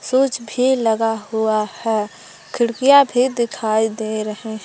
Switch भी लगा हुआ है। खिड़किया भी दिखाई दे रहे--